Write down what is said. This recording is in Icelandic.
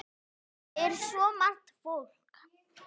Þetta er svo margt fólk.